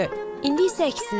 İndi isə əksinə.